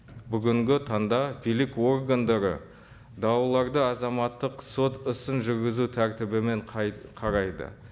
бүгінгі таңда билік органдары дауларды азаматтық сот ісін жүргізу тәртібімен қарайды